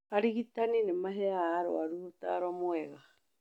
Arigitani nĩ maheaga arũaru ũtaaro mwega